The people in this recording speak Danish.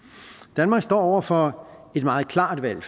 danmark står over for et meget klart valg